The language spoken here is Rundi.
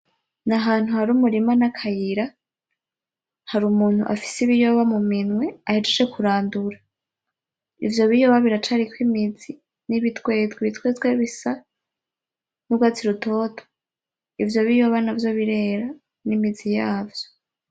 N'ahantu hari umurima n'akayira harumuntu afise ibiyoba muminwe ahejeje kurandura. Ivyo biyoba biracariko imizi n'ibitwetwe, ibitwetwe bisa n'ugwatsi rutoto ivyo biyoba navyo birera n'imizi yavyo.